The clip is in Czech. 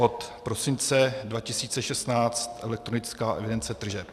Od prosince 2016 elektronická evidence tržeb.